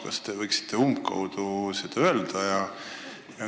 Kas te oskate seda umbkaudu öelda?